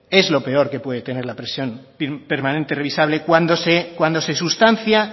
es lo peor que puede tener la prisión permanente revisable cuando se sustancia